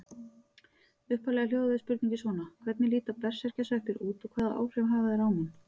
Upphaflega hljóðaði spurningin svona: Hvernig líta berserkjasveppir út og hvaða áhrif hafa þeir á mann?